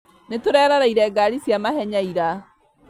Nĩtũreroreire ngari cia mahenya ira